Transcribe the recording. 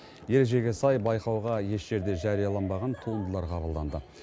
ережеге сай байқауға еш жерде жарияланбаған туындылар қабылданды